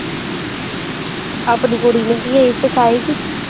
ਆਪਣੀ ਕੁੜੀ ਨੂੰ ਵੀ ਇਹੀ ਸਿਖਾਏਗੀ।